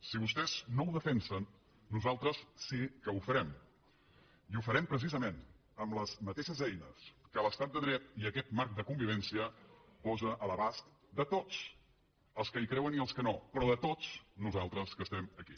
si vostès no ho defensen nosaltres sí que ho farem i ho farem precisament amb les mateixes eines que l’estat de dret i aquest marc de convivència posen a l’abast de tots els que hi creuen i els que no però de tots nosaltres que estem aquí